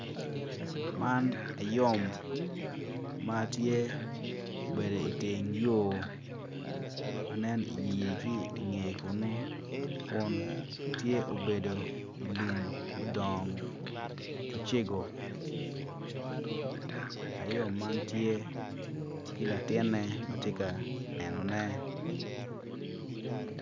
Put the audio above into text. Man ayom matye obedo iteng yo ma nen inyeye ki iye kunu tye obedo ilum mudoongo macego ayom man tye ki latine matye ka nenone